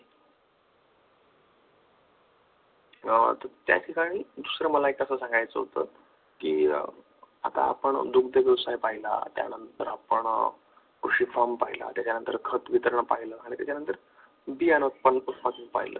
त्या ठिकाणी दुसर मला एक असं सांगायचं होतं की आता आपण दुग्ध व्यवसाय पाहिला, त्यानंतर आपण कृषी पाहिला त्याच्यानंतर खत वितरण पाहिलं त्याच्यानंतर बियाणं उत्पादन पाहिलं,